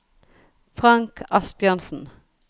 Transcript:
Frank Asbjørnsen